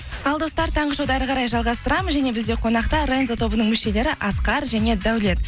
ал достар таңғы шоуды ары қарай жалғастырамыз және бізде қонақта рензо тобының мүшелері асқар және даулет